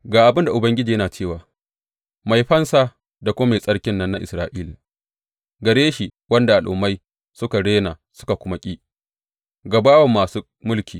Ga abin da Ubangiji yana cewa, Mai Fansa da kuma Mai Tsarkin nan na Isra’ila gare shi wanda al’ummai suka rena suka kuma ki, ga bawan masu mulki.